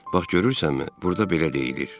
Bax görürsənmi, burda belə deyilir: